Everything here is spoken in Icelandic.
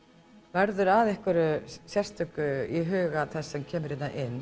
verður að einhverju sérstöku í huga þess sem kemur hingað inn